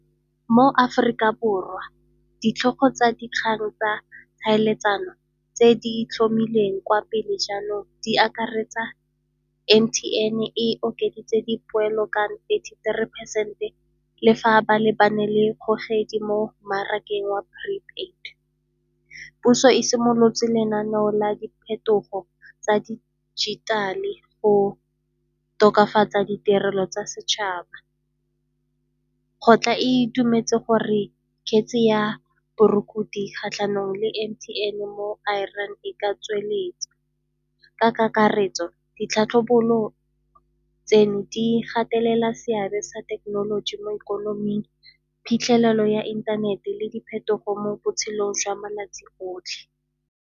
Mo Aforika Borwa ditlhogo tsa dikgang tsa tlhaeletsano tse di itlhomileng kwa pele jaanong di akaretsa M_T_N e okeditse di poelo ka thirty-three phesente le fa ba lebane le kgogedi mo mmarakeng wa prepaid. Puso e simolotse lenaneo la diphetogo tsa dijithale go tokafatsa ditirelo tsa setšhaba. Go tla e itumetse gore kgetse ya borukutlhi kgatlhanong le M_T_N mo Iran e ka tsweletsa. Ka kakaretso, di tlhatlhobolo tseno di gatelela seabe sa thekenoloji mo ikonoming, phitlhelelo ya inthanete le diphetogo mo botshelong jwa malatsi otlhe.